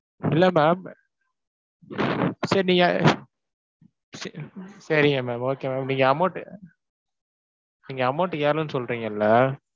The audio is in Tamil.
இல்ல ma'am சரி நீங்க ச~ சரிங்க ma'am okay ma'am. நீங்க amount அஹ் நீங்க amount ஏறலைன்னு சொல்றீங்கல்ல?